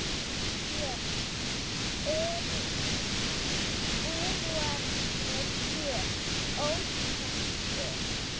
Björn: Eru íbúarnir hér ósáttir?